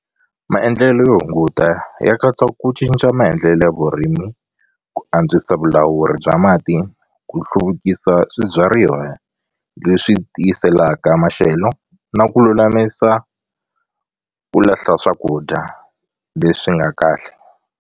Maendlelo yo hunguta ya katsa ku cinca maendlelo ya vurimi ku antswisa vulawuri bya mati ku hluvukisa swibyariwa leswi tiyiselaka maxelo na ku lulamisa ku lahla swakudya leswi nga kahle.